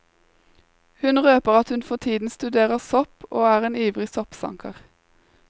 Hun røper at hun for tiden studerer sopp og er en ivrig soppsanker.